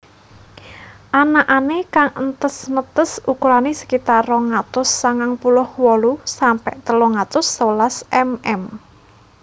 Anakané kang entes netes ukurané sekitar rong atus sangang puluh wolu sampe telung atus sewelas mm